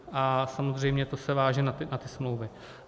A samozřejmě to se váže na ty smlouvy.